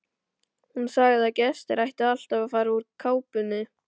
Hún sagði að gestir ættu alltaf að fara úr kápunni.